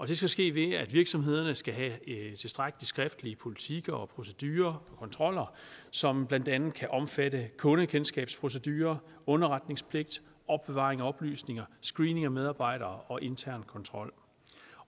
det skal ske ved at virksomhederne skal have tilstrækkelige skriftlige politikker og procedurer og kontroller som blandt andet kan omfatte kundekendskabsprocedurer underretningspligt opbevaring af oplysninger screening af medarbejdere og intern kontrol